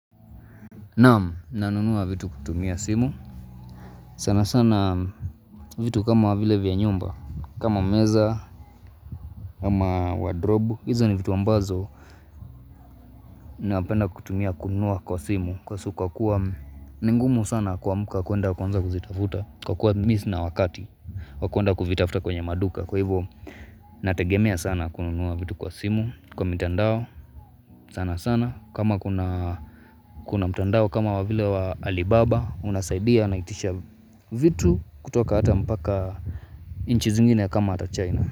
Naam, nanunua vitu kutumia simu sana sana vitu kama vile vya nyumba kama meza, kama wardrobe hizo ni vitu ambazo Napenda kutumia kununua kwa simu Kwa kuwa ni ngumu sana kuamuka kuenda kwanza kuzitafuta Kwa kuwa mimi sina wakati wa kuenda kuvitafuta kwenye maduka Kwa hivo, nategemea sana kununuwa vitu kwa simu Kwa mitandao, sana sana kama kuna mitandao kama wavile wa Alibaba unasaidia na itisha vitu kutoka hata mbaka nchi zingine kama hata China.